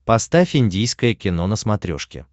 поставь индийское кино на смотрешке